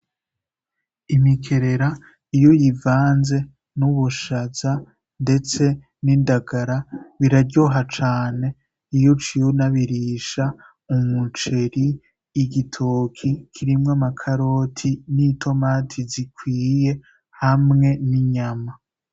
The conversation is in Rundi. Imiteja iy'uyivanze n'ubushaza ndetse n'indagara birayoha cane iyo uciye ubirisha umuceri, igitoki kirimwo amakaroti. n'itomati zikwiye hamwe n'inyama.